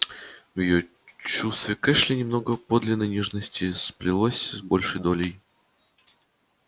в её чувстве к эшли немного подлинной нежности сплелось с большой долей